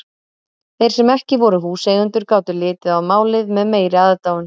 Þeir sem ekki voru húseigendur gátu litið á málið með meiri aðdáun.